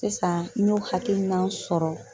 Sisan n y'o hakilina sɔrɔ